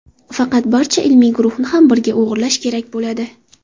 Faqat barcha ilmiy guruhni ham birga o‘g‘irlash kerak bo‘ladi.